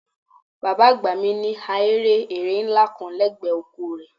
Bàbá àgbà mi ní ahéré ẹrẹ̀ ńlá kan lẹ́gbẹ̀ẹ́ oko rẹ̀